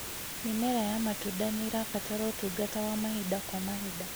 Mĩmera ya matunda nĩĩrabatara ũtungata wa mahinda kwa mahinda